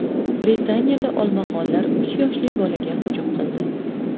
Britaniyada olmaxonlar uch yoshli bolaga hujum qildi.